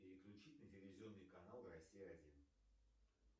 переключить на телевизионный канал россия один